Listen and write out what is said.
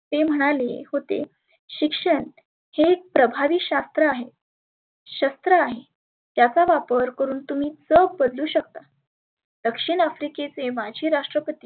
ते म्हणाले होते, शिक्षण हे एक प्रभावी शास्त्र आहे, शस्त्र आहे. त्याचा वापर करुण तुम्ही चोक पचवु शकता. दक्षीन आफ्रिकेचे माजी राष्ट्रपती